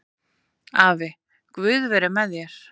Afi, guð veri með þér